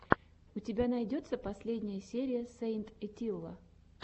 у тебя найдется последняя серия сэйнт этилла